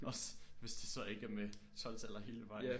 Også hvis det så ikke er med 12 taller hele vejen